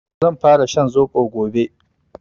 Zan fara shan zobo gobe